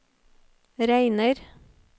regner